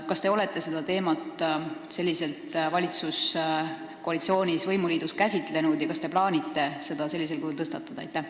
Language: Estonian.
Kas te olete seda teemat valitsuskoalitsioonis, võimuliidus, selliselt käsitlenud ja kas te plaanite seda sellisel kujul tõstatada?